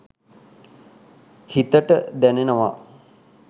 හිතට දැනෙනවා